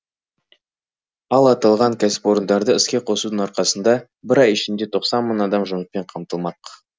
ал аталған кәсіпорындарды іске қосудың арқасында бір ай ішінде тоқсан мың адам жұмыспен қамтылмақ